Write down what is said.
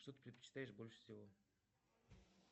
что ты предпочитаешь больше всего